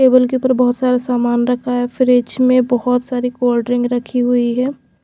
Table के ऊपर बहुत सारा सामान रखा है। फ्रिज में बहुत सारे कोल्ड ड्रिंक रखी हुई है।